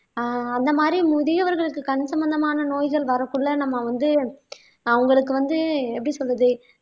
அஹ் அந்த மாதிரி முதியவர்களுக்கு கண் சம்பந்தமான நோய்கள் வரக்குள்ள நம்ம வந்து அவங்களுக்கு வந்து எப்படி சொல்றது